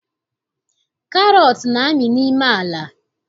Karọt na-amị n'ime ala